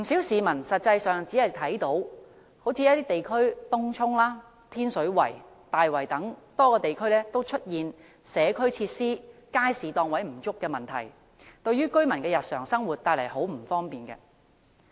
實際上，一些地區，例如東涌、天水圍和大圍等多個地區都出現社區設施和街市檔位不足等問題，對居民的日常生活帶來很多不便。